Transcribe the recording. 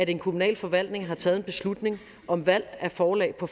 en kommunal forvaltning har taget en beslutning om valg af forlag på